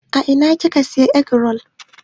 A ina kika Siya egg-roll?